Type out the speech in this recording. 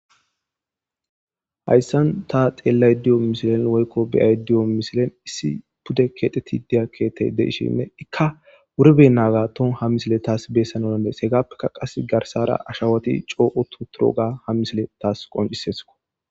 hayssan ta xeellay diyo misilen woykko beyay diyo misilen issi pude keexeti diya keetey deishine ikka wuribe naaga ton ha misile taas beessanonandees hegaappekka qas garsara ashawoti cooqu tu turo ga ha misile taas qoncisesko